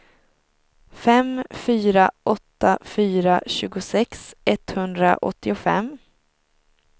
fem fyra åtta fyra tjugosex etthundraåttiofem